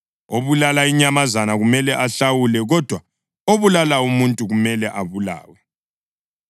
Obulala inyamazana kumele ayihlawule, kodwa obulala umuntu kumele abulawe.